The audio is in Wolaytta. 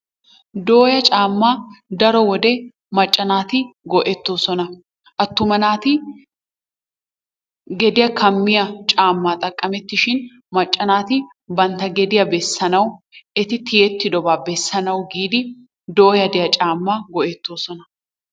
Dooya caammaa daro macca naati go"ettoosona. Attuma naati gediyaa kammiyaa caammaa xaqamettishin macca naati bantta gediyaa beessanawu eti tiyettidobaa bessanawu giidi dooya de'iyaa caammaa go"ettoosona.